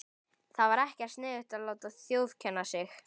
Það var ekkert sniðugt að láta þjófkenna sig.